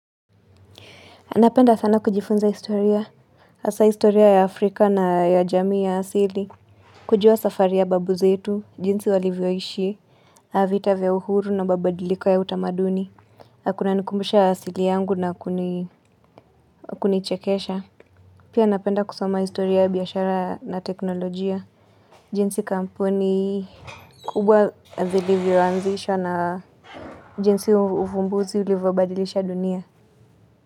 Napenda sana kujifunza historia hasa historia ya Afrika na ya jamii ya asili. Kujua safari ya babu zetu, jinsi walivyoishi navita vya uhuru na mabadiliko ya utamaduni nakuna nikumbusha asili yangu na kunichekesha. Pia napenda kusoma historia yabiashara na teknolojia. Jinsi kampuni kubwa zilivyoanzisha na jinsi uvumbuzi ulivyobadilisha dunia.